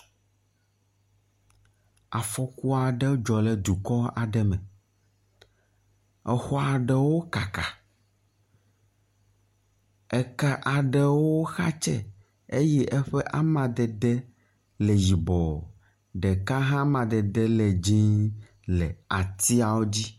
Afɔku aɖe dzɔ ɖe dukɔ aɖe me, exɔ aɖewo kaka. Eke aɖewo xatse eye eƒe amadede le yibɔ, ɖeka hã ƒe amadede le dzĩ le atiawo dzi.